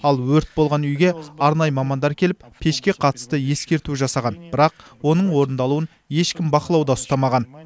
ал өрт болған үйге арнайы мамандар келіп пешке қатысты ескерту жасаған бірақ оның орындалуын ешкім бақылауда ұстамаған